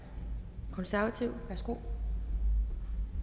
konservative værsgo